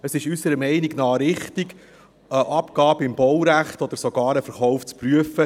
Es ist unserer Meinung nach richtig, eine Abgabe im Baurecht oder sogar einen Verkauf zu prüfen.